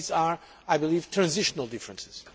but they are, I believe, transitional differences.